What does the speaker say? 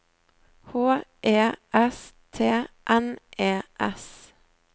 H E S T N E S